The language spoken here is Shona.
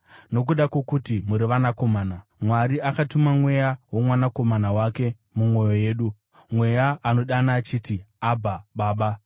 Nokuda kwokuti muri vanakomana, Mwari akatuma Mweya woMwanakomana wake mumwoyo yedu, Mweya anodana achiti, “Abha, Baba.”